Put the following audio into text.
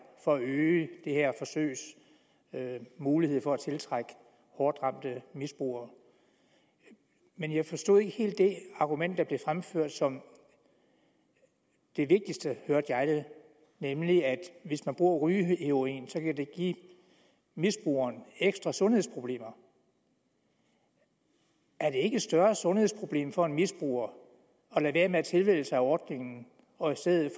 for at øge det her forsøgs mulighed for at tiltrække hårdt ramte misbrugere men jeg forstod ikke helt det argument der blev fremført som det vigtigste nemlig at hvis man bruger rygeheroin kan det give misbrugeren ekstra sundhedsproblemer er det ikke et større sundhedsproblem for en misbruger at lade være med at tilmelde sig ordningen og i stedet